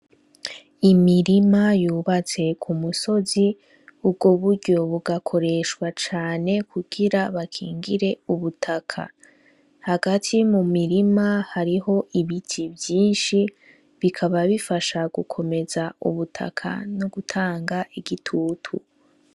Imirima yubatse ku musozi, ubwo buryo bugakoreshwa cane kugira bakingire ubutaka. Hagati mu mirima hariho ibiti vyinshi bikaba bifasha gukomeza ubutaka no gutanga igitutu.